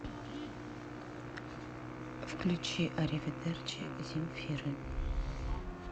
включи ариведерчи земфиры